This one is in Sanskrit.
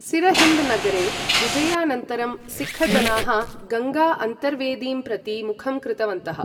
सिरहिन्द नगरे विजयानन्तरं सिक्ख जनाः गङ्गा अन्तर्वेदीं प्रति मुखं कृतवन्तः।